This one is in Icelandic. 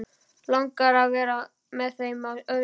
Langar að vera með þeim á öðrum stað.